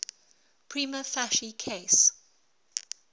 prima facie case